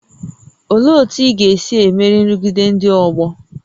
Olee otú ị ga-esi emeri nrụgide ndị ọgbọ?